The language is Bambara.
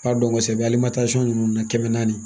B'a dɔn kosɛbɛ ali ninnu na kɛmɛ naani